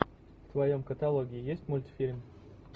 в твоем каталоге есть мультфильм